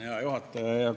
Hea juhataja!